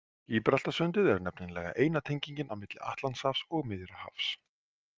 Gíbraltarsundið er nefnilega eina tengingin á milli Atlantshafs og Miðjarðarhafs.